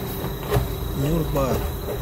нюрба